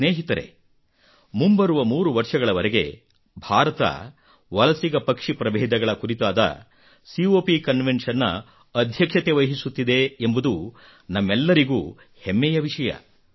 ಸ್ನೇಹಿತರೇ ಮುಂಬರುವ 3 ವರ್ಷಗಳವರೆಗೆ ಭಾರತ ವಲಸಿಗ ಪಕ್ಷಿ ಪ್ರಭೇದಗಳ ಕುರಿತಾದ ಕಾಪ್ ಕನ್ವೆನ್ಷನ್ ನ ಻ಅಧ್ಯಕ್ಷತೆ ವಹಿಸುತ್ತಿದೆ ಎಂಬುದು ನಮ್ಮೆಲ್ಲರಿಗೂ ಹೆಮ್ಮೆಯ ವಿಷಯ